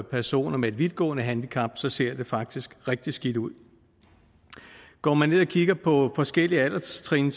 personer med et vidtgående handicap så ser det faktisk rigtig skidt ud går man ned og kigger på forskellige alderstrin